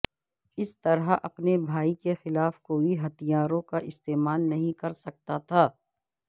اس طرح اپنے بھائی کے خلاف کوئی ہتھیاروں کا استعمال نہیں کرسکتا تھا